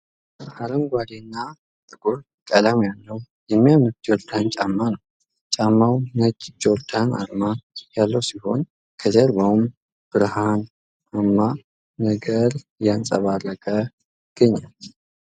አረንጓዴ እና ጥቁር ቀለም ያለው የሚያምር ጆርዳን ጫማ ነው ። ጫማው ነጭ ጆርዳን አርማ ያለው ሲሆን ከጀርባውም ብርሃን አማ ነገር እያንፀባረቀ ይገኛል ።